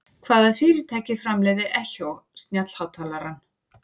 Hvaða fyrirtæki framleiðir Echo snjallhátalarann?